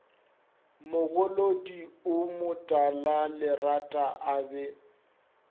mogolodi o motalalerata a be